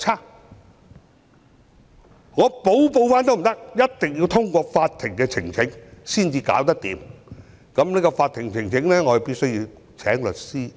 而且即使我想補報也不可以，一定要通過向法庭呈請才能處理，而為了這個法庭呈請，我必須聘律師。